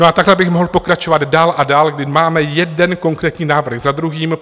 No a takhle bych mohl pokračovat dál a dál, kdy máme jeden konkrétní návrh za druhým.